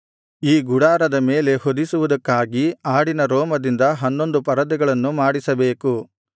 ಈ ಗುಡಾರದ ಮೇಲೆ ಹೊದಿಸುವುದಕ್ಕಾಗಿ ಆಡಿನ ರೋಮದಿಂದ ಹನ್ನೊಂದು ಪರದೆಗಳನ್ನು ಮಾಡಿಸಬೇಕು